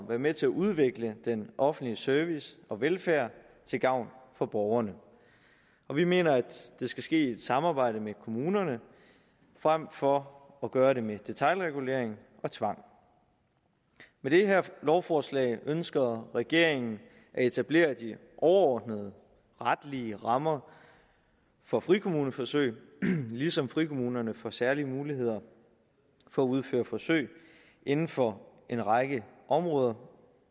være med til at udvikle den offentlige service og velfærd til gavn for borgerne og vi mener at det skal ske i et samarbejde med kommunerne frem for at gøre det med detailregulering og tvang med det her lovforslag ønsker regeringen at etablere de overordnede retlige rammer for frikommuneforsøg ligesom frikommunerne får særlige muligheder for at udføre forsøg inden for en række områder